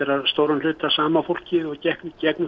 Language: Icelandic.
að stórum hluta sama fólkið og gekk í gegnum